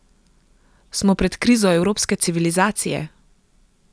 Smo pred krizo evropske civilizacije?